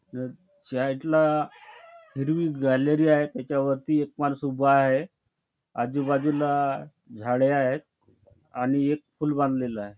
Side ला हिरवी gallery आहे त्याच्यावरती एक माणूस उभा आहे आजूबाजूला झाडे आहेत आणि एक पूल बांधलेला आहे.